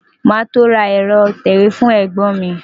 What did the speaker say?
Màá tó ra ẹ̀rọ ìtẹ̀wé fún ẹ̀gbọ́n mi.